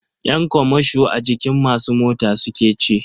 Ƴan kamasho a jikin masu mota suke ci.